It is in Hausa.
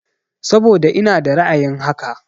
Saboda ina da ra'ayin haka.